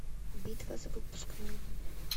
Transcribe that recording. битва за выпускной